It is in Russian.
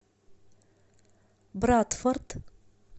брадфорд